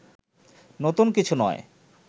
নতুন কিছু নয়